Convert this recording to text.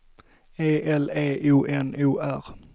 E L E O N O R